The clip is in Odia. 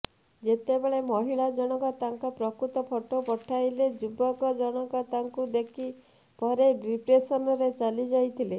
ଯେତେବେଳେ ମହିଳା ଜଣକ ତାଙ୍କ ପ୍ରକୃତ ଫଟୋ ପଠାଇଲେ ଯୁବକ ଜଣକ ତାଙ୍କୁ ଦେଖିବା ପରେ ଡିପ୍ରେସନରେ ଚାଲିଯାଇଥିଲେ